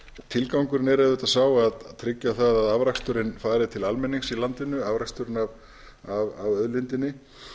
tilgangurinn er auðvitað sá að tryggja það að afraksturinn fari til almennings í landinu afraksturinn af auðlindinni